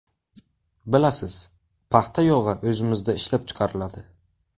Bilasiz, paxta yog‘i o‘zimizda ishlab chiqariladi.